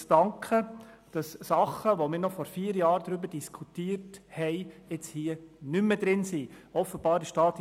Und zwar dafür, dass unter den die Bildung betreffenden Massnahmen Dinge nicht mehr in diesem Paket enthalten sind, die wir noch vor vier Jahren diskutiert haben.